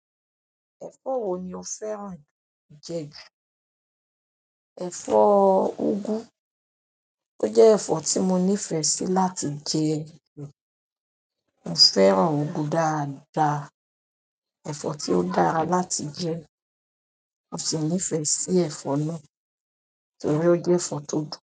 Ẹ̀fọ́ wo ni o fẹ́ràn jẹ jù? Ẹ̀fọ́ úgú. O je ẹ̀fọ́ ti mo nifesi láti je. Mo fẹ́ràn ugù dáadáa. Ẹ̀fọ́ tí ó dára láti jẹ. Mo sì nífẹ̀ẹ́ sí ẹ̀fọ́ náà torí o jẹ́ ẹ̀fọ́ tó dùn.